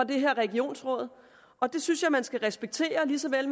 det her regionsråd og det synes jeg man skal respektere lige så vel